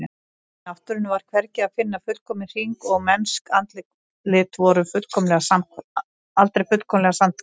Í náttúrunni var hvergi að finna fullkominn hring og mennsk andlit voru aldrei fullkomlega samhverf.